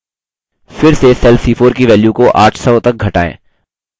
फिर से cell c4 की value को 800 तक घटाएँ